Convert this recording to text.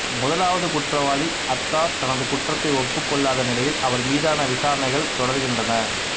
முதலாவது குற்றவாளி அத்தார் தனது குற்றத்தை ஒப்புக்கொள்ளாத நிலையில் அவர் மீதான விசாரணைகள் தொடர்கின்றன